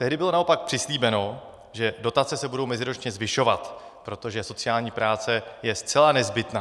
Tehdy bylo naopak přislíbeno, že dotace se budou meziročně zvyšovat, protože sociální práce je zcela nezbytná.